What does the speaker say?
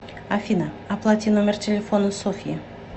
афина оплати номер телефона софьи